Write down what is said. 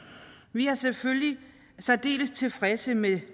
vi er selvfølgelig særdeles tilfredse med